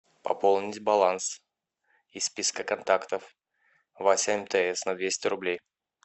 пополнить баланс из списка контактов вася мтс на двести рублей